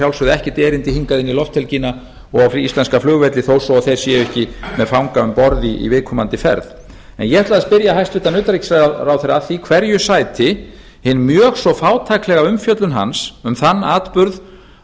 sjálfsögðu ekkert erindi hingað inn í lofthelgina og á íslenska flugvelli þó svo að þeir séu ekki með fanga um borð í viðkomandi ferð en ég ætlaði að spyrja hæstvirtan utanríkisráðherra að því hverju sæti hin mjög svo fátæklega umfjöllun hans um þann atburð á